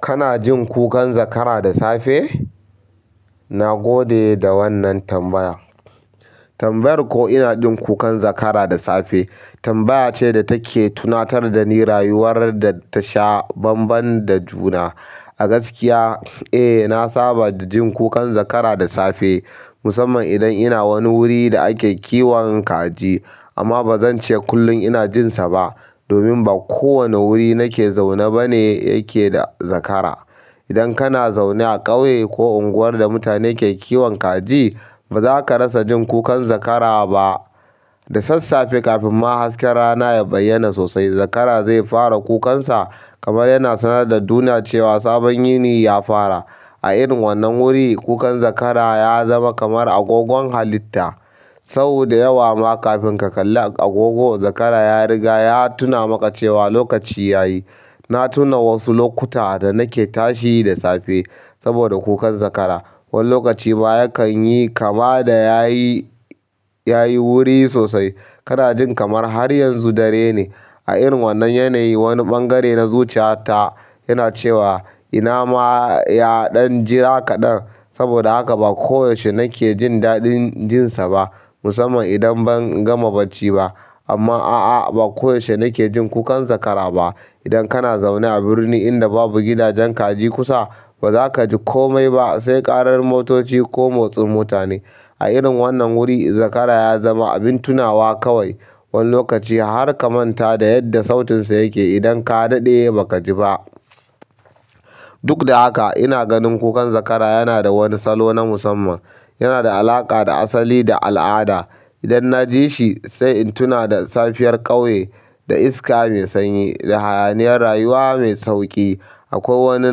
Kana jin kukan zakara da safe? Na gode da wannan tambaya. Tambayar ko ina jin kukan zakara da safe tambaya ce da take tunatar da ni rayuwar da ta sha banban da juna. A gaskiya, eh, na saba da jin kukan zakara da safe, musamman idan ina wani wuri da ake kiwon kaji. Amma ba zan ce kullum ina jin sa ba, domin ba kowane wuri nake zaune ba ne yake da zakara idan kana zaune a ƙauye ko unguwar da mutane ke kiwon kaji bazaka rasa jin kukan zakara ba da sassafe kafin ma hasken rana ya bayyana sosai zakara zai fara kukan sa kamar yana sanar da duniya cewa sabon yini ya fara. A irin wannan wuri, kukan zakara ya zama kamar agogon halitta. Sau da yawa ma kafin ka kalla agogo, zakara ya riga ya tuna maka cewa lokaci ya yi. Na tuna wasu lokuta da nake tashi da safe saboda kukan zakara. Wani lokacin baya kan yi kama da ya yi, ya yi wuri sosai. Kada jin kamar har yanzu dare ne. A irin wannnan yanayin wani ɓangare na zuciya ta yana cewa ina ma yaɗan jira kaɗan saboda haka ba ko yaushe najke jin daɗin jinsaba musamman idan ban gama bacci ba amma a'a, ba koyaushe nake jin kukan zakara ba. Idan kana zaune a birni inda babu gidajen kaji kusa, ba za ka ji kome ba sai ƙarar motoci ko motsin mutane. A irin wannan wuri, zakara ya zama abin tunawa kawai. Wani lokaci har ka manta da yadda sautin sa yake idan ka daɗe baka jiba duk da haka ina ganin kukan zakara yanada wani salo na musamman yanada alaƙa da asali da al ada idan naji ishi, sai in tuna da safiyar ƙauye, da iska mai sanyi, da hayaniyar rayuwa mai sauƙi. Akwai wani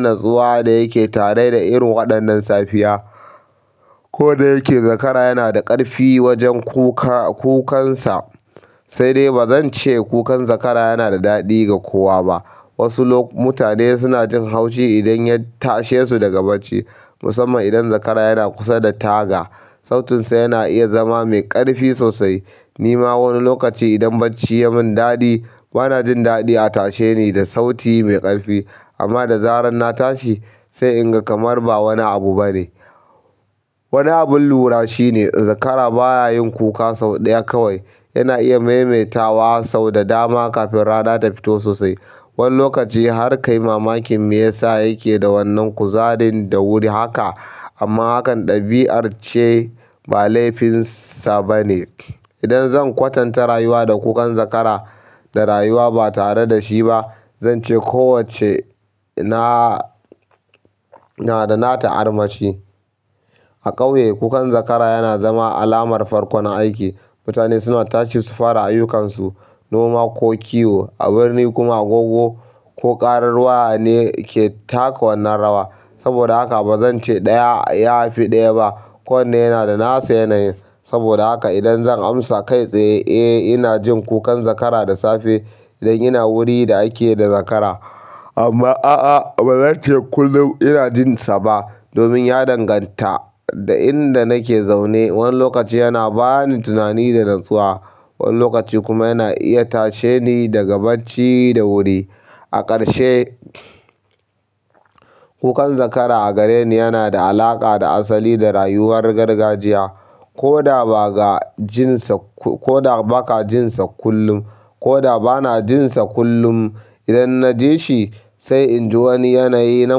natsuwa da yake tare da irin waɗannan safiya. Ko da yake zakara yana da ƙarfi wajen kuka, kukansa, sai dai ba zan ce kukan zakara yana da daɗi ga kowa ba. Wasu lok-- mutane suna jin haushi idan ya tashe su daga bacci, musamman idan zakara yana kusa da taga. Sautinsa yana iya zama mai ƙarfi sosai. Ni ma wani lokaci idan bacci ya mun daɗi, bana jin daɗi a tashe ni da sauti mai ƙarfi. Amma da zarar na tashi, sai in ga kamar ba wani abu ba ne. Wani abin lura shine zakara bayayin kuka sau da ya kawai. Yana iya maimaitawa sau da dama kafin rana ta fitwho sosai. Wani lokaci har ka yi mamakin me yasa yake da wannan kuzarin da wuri haka. Amma hakan ɗabi'ar ce, ba laifinsa ba ne. Idan zan kwatanta rayuwa da kukan zakara, da rayuwa ba tare da shi ba, zan ce kowacce na, na da nata armashi. A ƙauye, kukan zakara yana zama alamar farkon aiki. Mutane suna tashi su fara ayyukansu, noma ko kiwo. A birni kuma agogo ko ƙarar waya ne ke taka wannan rawa. Saboda haka ba zan ce ɗaya yafi ɗaya ba. Kowanne yana da nasa yanayi saboda haka idan zan amsa kai tsaye, eh, ina jin kukan zakara da safe idan ina wuri da ake da zakara. Amma a'a, ba zan ce kullum ina jin sa ba domin ya danganta da inda nake zaune. Wani lokaci yana ba ni tunani da natsuwa, wani lokaci kuma yana iya tashe ni daga bacci da wuri. A ƙarshe, kukan zakara a gareni yana da alaƙa da asali da rayuwar gargajiya. Ko da ba ga jin sa, ko da ba ka jin sa kullum, ko da ba na jin sa kullum, idan na ji shi, sai in ji wani yanayi na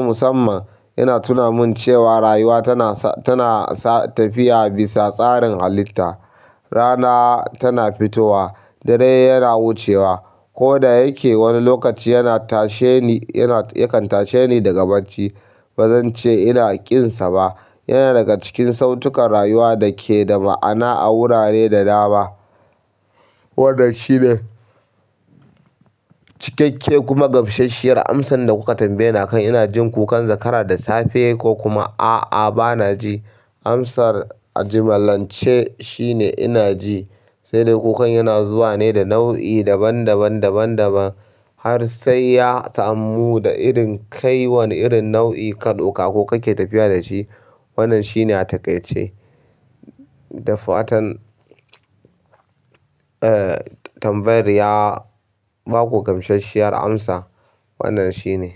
musamman. Yana tuna mun cewa rayuwa tana sa, tana tafiya bisa tsarin halitta. Rana tana fitowa, dare yana wucewa. Ko da yake wani lokaci yana tashe ni, yana, yakan tashe ni daga bacci, ba zan ce ina kin sa ba. Yana daga cikin sautukan rayuwa da ke da ma'ana a wurare da dama. Wannan shine cikakke kuma gamsashshiyar amsan da kuka tambaye akan ina jin kukan zakara da safe ko kuma a'a, ba na ji. Amsar a jimallance shine ina ji. Sai dai kukan yana zuwa ne da nau'i daban daban, daban daban. Har sai ya ta'ammu da irin kai wani irin nau'i kadauka ko kake tafiya da shi. Wannan shi ne a taƙaice. Da fatan, eh, tambayar ya baku gamsashshiyar amsa. Wannan shi ne.